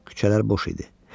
Küçələr boş idi.